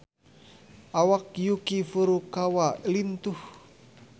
Awak Yuki Furukawa lintuh